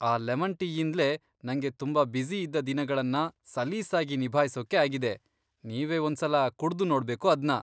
ಆ ಲೆಮನ್ ಟೀಯಿಂದ್ಲೇ ನಂಗೆ ತುಂಬಾ ಬ್ಯುಸಿ ಇದ್ದ ದಿನಗಳನ್ನ ಸಲೀಸಾಗಿ ನಿಭಾಯ್ಸೋಕೆ ಆಗಿದೆ, ನೀವೇ ಒಂದ್ಸಲ ಕುಡ್ದು ನೋಡ್ಬೇಕು ಅದ್ನ.